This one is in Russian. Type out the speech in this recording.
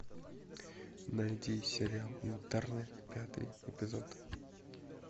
найди сериал интерны пятый эпизод